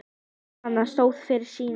Jóhann stóð fyrir sínu.